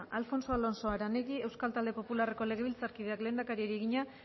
alfonso alonso aranegui euskal talde popularreko legebiltzarkideak lehendakariari egina